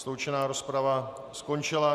Sloučená rozprava skončila.